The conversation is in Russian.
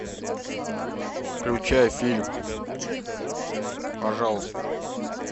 включай фильм пожалуйста